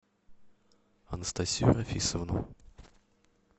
анастасию рафисовну